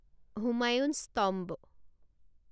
Humayun's tomb